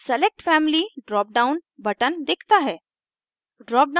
select family drop down button दिखता है